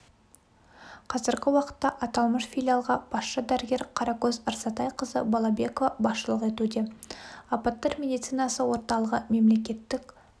қазіргі уақытта аталмыш филиалға басшы дәрігер қаракөз рзатайқызы балабекова басшылық етуде апаттар медицинасы орталығы мемлекеттік